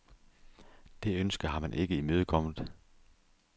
Det ønske har man ikke imødekommet.